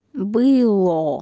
было